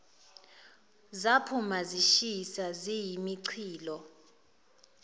zaphuma zishisa ziyimichilo